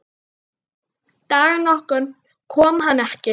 Dag nokkurn kom hann ekki.